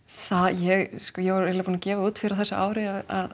ég ég var eiginlega búin að gefa það út fyrr á þessu ári að